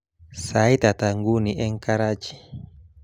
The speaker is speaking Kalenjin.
Sait ata nguni eng Karachi